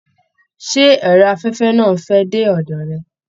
Ṣé ẹrọ afẹfẹ náà n fẹ dé ọdọ rẹ?